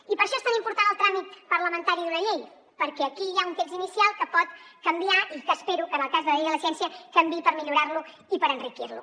i per això és tan important el tràmit parlamentari d’una llei per què aquí hi ha un text inicial que pot canviar i que espero que en el cas de la llei de la ciència canviï per millorar lo i per enriquir lo